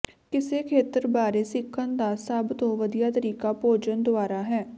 ਕਿਸੇ ਖੇਤਰ ਬਾਰੇ ਸਿੱਖਣ ਦਾ ਸਭ ਤੋਂ ਵਧੀਆ ਤਰੀਕਾ ਭੋਜਨ ਦੁਆਰਾ ਹੈ